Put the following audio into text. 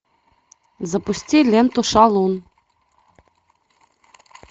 запусти ленту шалун